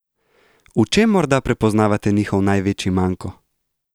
V čem morda prepoznavate njihov največji manko?